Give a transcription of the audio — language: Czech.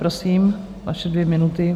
Prosím, vaše dvě minuty.